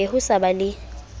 be ho sa ba le